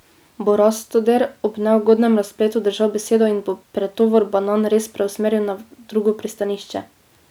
Bo Rastoder ob neugodnem razpletu držal besedo in bo pretovor banan res preusmeril na drugo pristanišče?